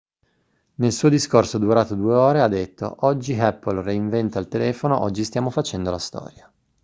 nel suo discorso durato 2 ore ha detto oggi apple reinventa il telefono oggi stiamo facendo la storia